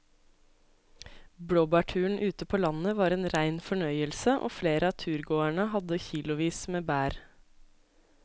Blåbærturen ute på landet var en rein fornøyelse og flere av turgåerene hadde kilosvis med bær.